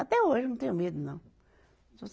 Até hoje não tenho medo, não.